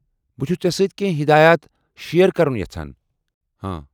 بہٕ چھُس ژےٚ سٲتۍ کینٛہہ ہدایت شیر كرُن یژھان ۔